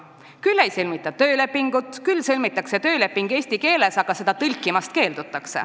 Küll ei sõlmita töölepingut, küll sõlmitakse see eesti keeles ja keeldutakse seda ära tõlkimast.